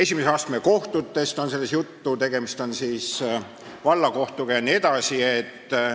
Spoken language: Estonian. Samuti on selles juttu esimese astme kohtust ehk siis vallakohtust.